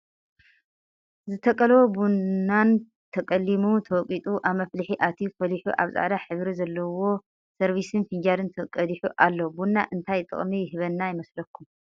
ዝተቀለዎ ቡናን ተቀሊው ተወቂጡ ኣብ መፍሊሒ ኣትዩ ፈሊሑ ኣብ ፃዕዳ ሕብሪ ዘለዎ ሰርቪስን ፍንጃልን ተቀዲሑ ኣሎ። ቡና እንታይ ጥቅሚ ይህበና ይመስለኩም?